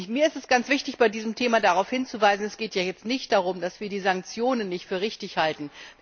Mir ist es ganz wichtig, bei diesem Thema darauf hinzuweisen, dass es jetzt hier nicht darum geht, dass wir die Sanktionen nicht für richtig halten.